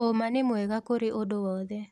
ũma nĩ mwega kũrĩ ũndũ wothe.